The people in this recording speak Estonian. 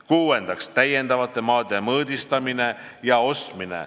Kuuendaks, täiendavate maade mõõdistamine ja ostmine .